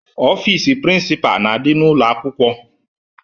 Ọfiisi prịnsịpaa na-adị n'ụlọ akwụkwọ,